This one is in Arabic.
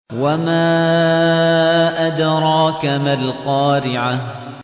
وَمَا أَدْرَاكَ مَا الْقَارِعَةُ